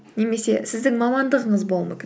немесе сіздің мамандығыңыз болуы мүмкін